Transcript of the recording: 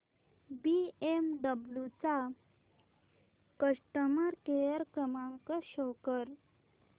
BMW चा customer care क्रमांक show कर